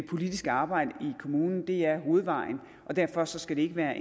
politiske arbejde i kommunen er hovedvejen og derfor skal det ikke være